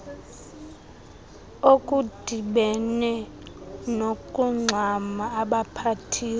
okudibene nokungxama abaphathiswa